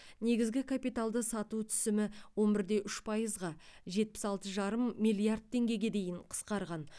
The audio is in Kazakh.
негізгі капиталды сату түсімі он бір де үш пайызға жетпіс алты жарым миллиард теңгеге дейін қысқарған